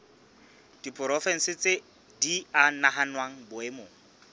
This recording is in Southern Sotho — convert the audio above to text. diporofensi di a nahanwa boemong